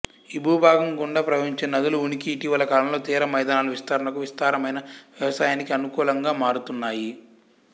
ఈ భూభాగం గుండా ప్రవహించే నదుల ఉనికి ఇటీవలి కాలంలో తీర మైదానాలు విస్తరణకు విస్తారమైన వ్యవసాయానికి అనుకూలంగా మారుతున్నాయి